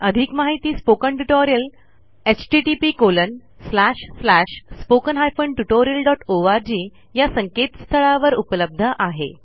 अधिक माहिती spoken tutorial httpspoken tutorialorg या संकेतस्थळावर उपलब्ध आहे